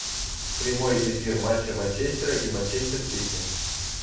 прямой эфир матча манчестера и манчестер сити